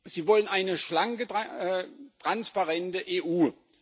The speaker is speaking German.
Sie wollen eine schlanke, transparente EU.